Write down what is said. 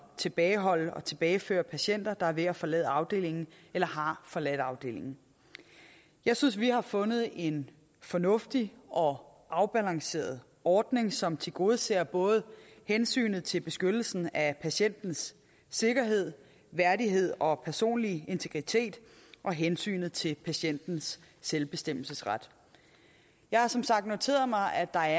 tilbageholde og tilbageføre patienter der er ved at forlade afdelingen eller har forladt afdelingen jeg synes vi har fundet en fornuftig og afbalanceret ordning som tilgodeser både hensynet til beskyttelsen af patientens sikkerhed værdighed og personlige integritet og hensynet til patientens selvbestemmelsesret jeg har som sagt noteret mig at der